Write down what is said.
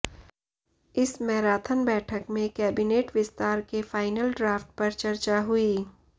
इस मैराथन बैठक में कैबिनेट विस्तार के फाइनल ड्राफ्ट पर चर्चा हुई